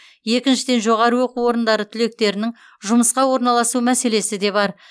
екіншіден жоғары оқу орындары түлектерінің жұмысқа орналасу мәселесі де бар